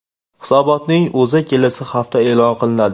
Hisobotning o‘zi kelasi hafta e’lon qilinadi.